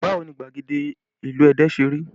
Báwo ni gbagede ìlú Ẹdẹ ṣe rí?